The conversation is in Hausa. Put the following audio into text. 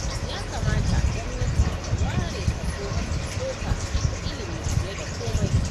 Ya kamata gwamnati ta ware kaso mafi tsoka ga ilimi fiye da komai.